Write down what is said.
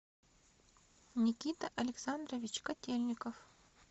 никита александрович котельников